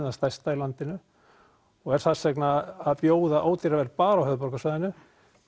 það stærsta í landinu og er þess vegna að bjóða ódýrara verð bara á höfuðborgarsvæðinu